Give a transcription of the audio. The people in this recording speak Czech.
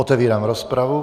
Otevírám rozpravu.